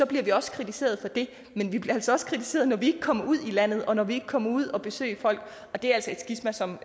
bliver vi også kritiseret for det men vi bliver altså også kritiseret når vi ikke kommer ud i landet og når vi ikke kommer ud og besøger folk og det er altså et skisma som